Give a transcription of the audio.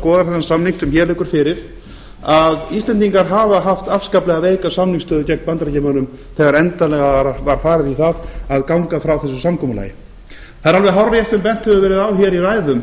skoðar þennan samning sem hér liggur fyrir að íslendingar hafa haft afskaplega veika samningsstöðu gegn bandaríkjamönnum þegar endanlega var farið í að ganga frá þessu samkomulagi það er alveg hárrétt sem bent hefur verið á hér í ræðum